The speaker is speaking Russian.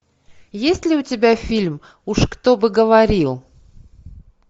есть ли у тебя фильм уж кто бы говорил